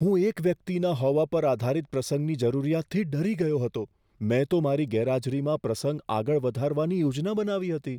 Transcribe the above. હું એક વ્યક્તિના હોવા પર આધારિત પ્રસંગની જરૂરિયાતથી ડરી ગયો હતો, મેં તો મારી ગેરહાજરીમાં પ્રસંગ આગળ વધારવાની યોજના બનાવી હતી.